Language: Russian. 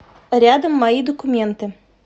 рядом мои документы